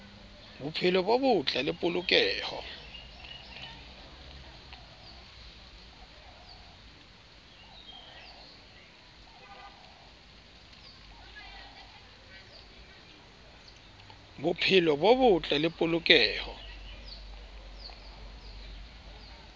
bophelo bo botle le polokeho